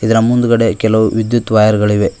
ಇದರ ಮುಂದುಗಡೆ ಕೆಲವು ವಿದ್ಯುತ್ ವೈರ್ ಗಳಿವೆ.